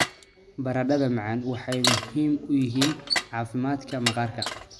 Baradhada macaan waxay muhiim u yihiin caafimaadka maqaarka.